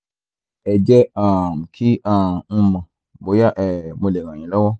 ẹ jẹ́ um kí um n mọ̀ bóyá um mo lè ràn yín lọ́wọ́